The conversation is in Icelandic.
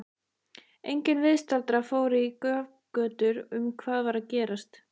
Enginn viðstaddra fór í grafgötur um hvað var að gerast.